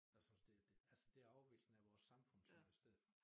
Jeg synes det det altså det afviklingen af vores samfund synes jeg stedet for